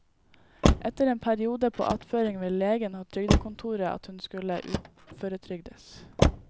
Etter en periode på attføring ville legen og trygdekontoret at hun skulle uføretrygdes.